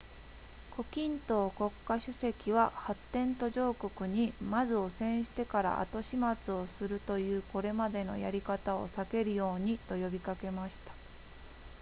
胡錦濤国家主席は発展途上国にまず汚染してから後始末をするというこれまでのやり方を避けるようにと呼びかけました